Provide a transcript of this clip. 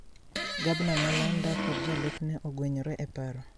Gabna ma Luanda kod jalupne ogwenyre e paro